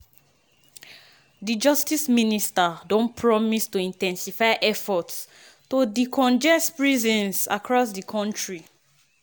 di justice minister don promise to in ten sify efforts to decongest prisons across di kontri.